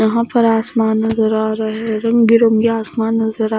यहां पर आसमान नजर आ रहे रंग बिरंगे आसमान नजर आ--